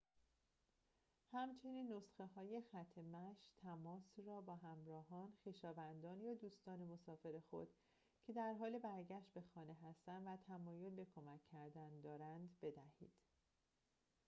همچنین نسخه‌های خط مشی / تماس را به همراهان خویشاوندان یا دوستان مسافر خود که در حال برگشت به خانه هستند و تمایل به کمک کردن دارند بدهید